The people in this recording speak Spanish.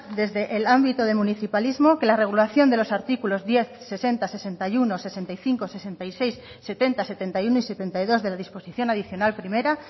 desde el ámbito de municipalismo que la regulación de los artículos diez sesenta sesenta y uno sesenta y cinco sesenta y seis setenta setenta y uno y setenta y dos de la disposición adicional primera